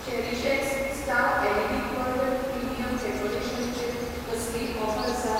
CherishX star LED curtain premium decoration चेर कसलीय offer आसा ?